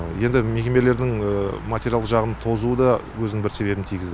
енді мекемелердің материалдық жағының тозуы да өзінің бір себебін тигізді